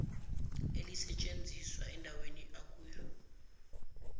elisetshenizwa endaweni akuyo